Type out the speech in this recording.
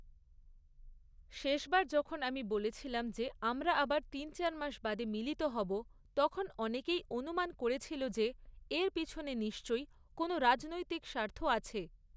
শেষবার যখন আমি বলেছিলাম যে আমরা আবার তিন চার মাস বাদে মিলিত হবো, তখন অনেকেই অনুমান করেছিল যে এর পেছনে নিশ্চই কোনো রাজনৈতিক স্বার্থ আছে।